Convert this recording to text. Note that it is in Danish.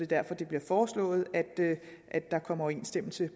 derfor det bliver foreslået at der kommer overensstemmelse